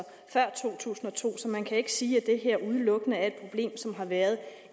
før to tusind og to så man kan ikke sige at det her udelukkende er et problem som har været